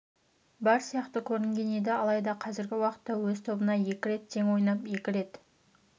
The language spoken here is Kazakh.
бар сияқты көрінген еді алайда қазіргі уақытта өз тобында екі рет тең ойнап екі рет